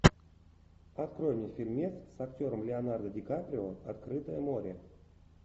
открой мне фильмец с актером леонардо дикаприо открытое море